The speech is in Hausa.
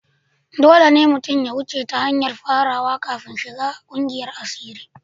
Dole ne mutum ya wuce ta hanyar farawa kafin shiga kungiyar asiri.